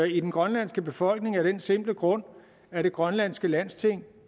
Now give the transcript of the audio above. i den grønlandske befolkning af den simple grund at det grønlandske landsting